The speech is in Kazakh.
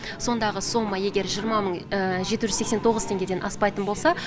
сондағы сома егер жиырма мың жеті жүз сексен тоғыз теңгеден аспайтын болса